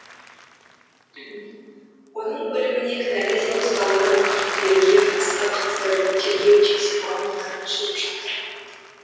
оның өліміне кінәлі деп ұсталған күдіктілерге қатысты қазір тергеу тексеру амалдары жүріп жатыр